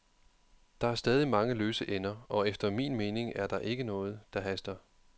Der er stadig mange løse ender, og efter min mening er der ikke noget, der haster.